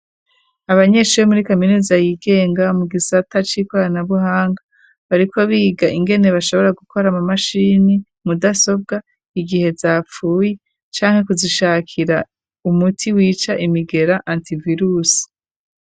Abanyeshure muri kaminuza yigenga mu gisata c'ikoranabuhanga bariko biga ingene bashobora gukora mu mashini mudasobwa igihe zapfuye canke kuzishakira umuti wica imigera antivirusi.